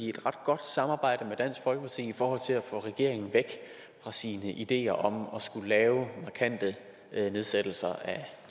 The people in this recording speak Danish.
et ret godt samarbejde med dansk folkeparti i forhold til at få regeringen væk fra sine ideer om at skulle lave markante nedsættelser